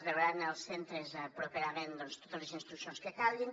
rebran els centres properament totes les instruccions que calguin